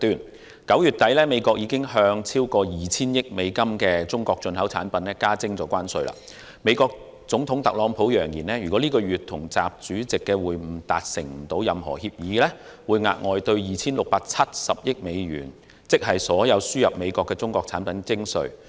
美國在9月底已向超過 2,000 億美元的中國進口產品加徵關稅，美國總統特朗普揚言，如果本月與習主席的會晤未能達成任何協議，會額外對 2,670 億美元——即所有輸入美國的中國產品——徵稅。